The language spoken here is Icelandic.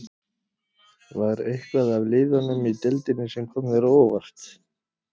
Var eitthvað af liðunum í deildinni sem kom þér á óvart?